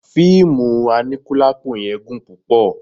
Fíìmù aníkúlápó yẹn gùn púpọ̀